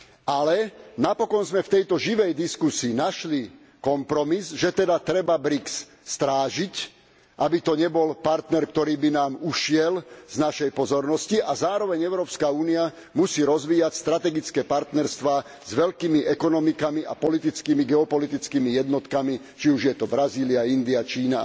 Ale napokon sme v tejto živej diskusii našli kompromis, že treba BRIC strážiť, aby to nebol partner, ktorý by nám ušiel z našej pozornosti, a Európska únia musí zároveň rozvíjať strategické partnerstvá s veľkými ekonomikami a politickými geopolitickými jednotkami, či už je to Brazília, India, Čína